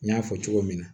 N y'a fɔ cogo min na